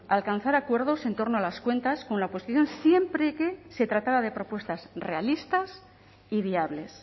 a alcanzar acuerdos en torno a las cuentas con la oposición siempre que se tratara de propuestas realistas y viables